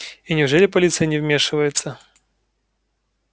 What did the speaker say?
и неужели полиция не вмешивается